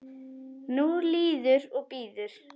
Nú líður og bíður.